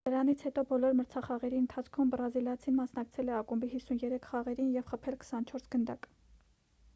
դրանից հետո բոլոր մրցախաղերի ընթացքում բրազիլացին մասնակցել է ակումբի 53 խաղերին և խփել 24 գնդակ